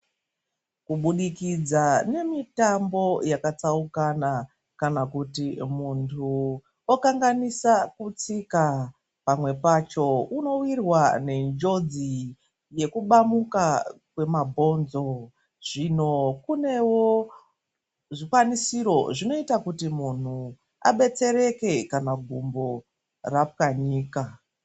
Kubudikidza nemitambo yakatsaukana, kana kuti muntu okanganisa kutsika, pamwe pacho unowirwa nenjodzi yekubamuka kwemabhonzo. Zvino kunewo zvikwanisiro, zvinoita kuti muntu abetsereke kana gumbo rapwanyika.